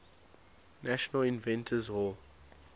national inventors hall